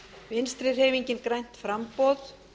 vinstri hreyfingin grænt framboð